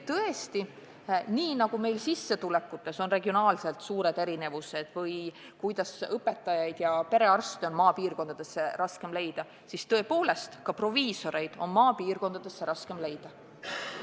Tõesti, nii nagu meil sissetulekutes on regionaalselt suured erinevused, õpetajaid ja perearste on maapiirkondadesse raskem leida, on tõepoolest ka proviisoreid maale raskem leida.